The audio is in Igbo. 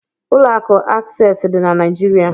Ụlọ akụ Akses dị na Naịjirịa.